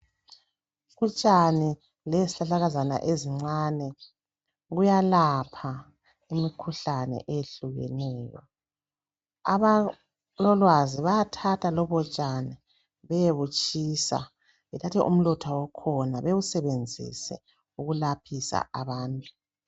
Utshani lezihlahlakazana ezincani Kiya lapha imikhuhlane eyehlukeneyo abalolwazi bayathatha lobo tshani beyebutshisa bethathe umlotha wakhona bewusebenzise ukulapheni abantu